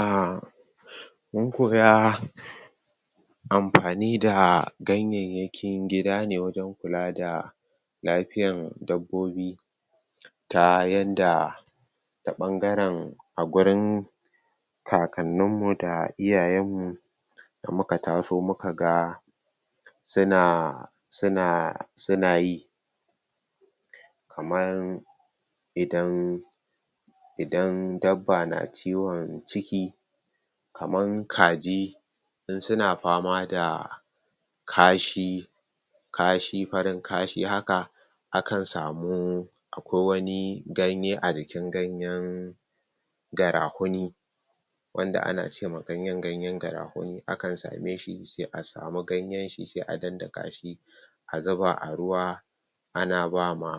um Mun ko ga amfani da ganyayyakin gida ne wajen kula da lafiyan dabobbi ta yadda ta ɓangaren a gurin kakannin mu da iyayen mu da muka taso muka ga? suna yi kaman? idan dabba na ciwon ciki kaman kaji in suna fama da kashi? farin kashi haka akan samu akwai wani ganye a jikin ganeyn garahuni wanda ana ce ma ganyen ganeyn garahuni akan same shi sai a samu ganyen shi sai a daddaka shi a zuba a ruwa ana ba ma?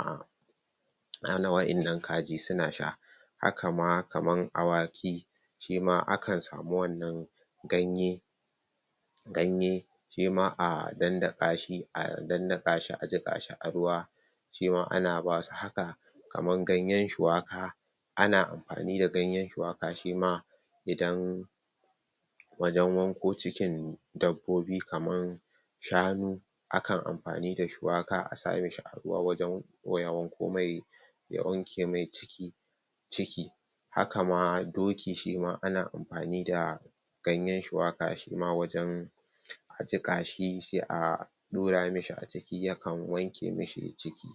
wa'innan kaji suna sha haka ma kaman awaki shima akan su wannan ganye? shima a daddaka shi a daddaka shi a jiƙa shi a ruwa shima ana ba su haka kaman ganyen shuwaka ana amfani da ganyen shuwaka shima? wajen wanko cikin dabbobi kaman shanu akan amfani da shuwa a sa mishi a ruwa? ya wanke mai ciki? kama ma doki shima ana amfani da ganyen shuwaka shima wajen a jiƙa shi sai a a ɗura mishi a ciki ya kan wanke mishi ciki??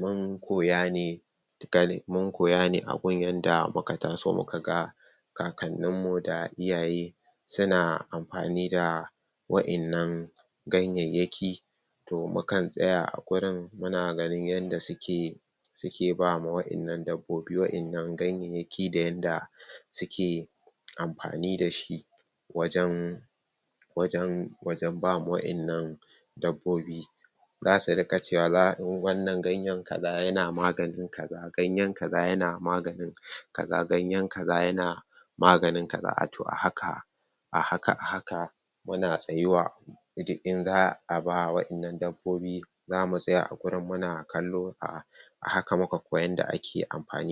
Mun koya ne a gun yanda muka taso muka kakannin mu da iyaye suna amfani da wa'innan ganyayyaki toh mukan tsaya a gurin muna ganin yanda suke ba ma wa'innan dabbobi wa'innan ganyayyaki da yanda suke amfani da shi wajen? ba ma wa'innan dabbobi zasu riƙa cewa wannan ganye kaza yana maganin kaza, wanna yana maganin kaza kaza ganyen kaza yana maganin kaza to a haka a haka a haka muna tsayuwa duk in za a ba wa wa'innan dabbobi zamu tsaya a gurin muna kallo a haka muka koyi yanda ake amfani